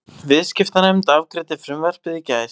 Viðskiptanefnd afgreiddi frumvarpið í gærdag